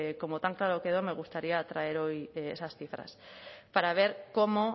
que como tan claro quedó me gustaría traer hoy esas cifras para ver cómo